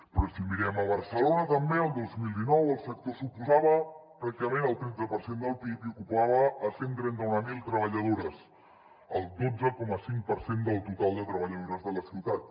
però si mirem a barcelona també el dos mil dinou el sector suposava pràcticament el tretze per cent del pib i ocupava cent i trenta mil treballadores el dotze coma cinc per cent del total de treballadores de la ciutat